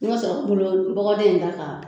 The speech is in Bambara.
I ma sɔrɔ ka mulɔ bɔgɔden in da kan.